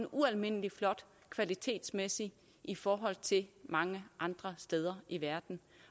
ualmindelig flot kvalitetsmæssigt i forhold til mange andre steder i verden